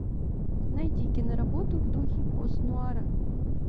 найди киноработу в духе постнуара